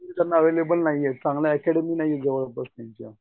त्यांना अव्हेलेबल नाहीयेत चांगली अकॅडमी नाहीये त्यांच्याजवळ.